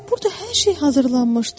Burda hər şey hazırlanmışdı.